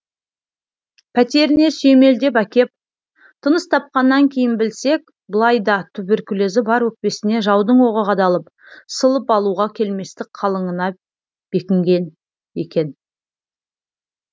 пәтеріне сүйемелдеп әкеп тыныс тапқаннан кейін білсек былайда туберкулезі бар өкпесіне жаудың оғы қадалып сылып алуға келместік қалыңына бекіген екен